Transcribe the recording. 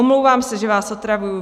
Omlouvám se, že vás otravuji.